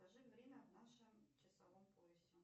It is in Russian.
скажи время в нашем часовом поясе